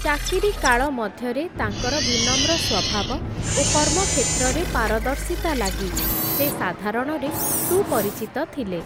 ଚାକିରି କାଳ ମଧ୍ୟରେ, ତାଙ୍କର ବିନମ୍ର ସ୍ଵଭାବ, ଓ କର୍ମକ୍ଷେତ୍ରରେ ପାରଦର୍ଶିତା ଲାଗି, ସେ ସାଧାରଣରେ ସୁପରିଚିତ ଥିଲେ ।